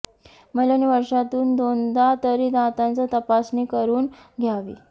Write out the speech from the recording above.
महिलांनी वर्षातून दोनदा तरी दातांची तपासणी करून घ्यावी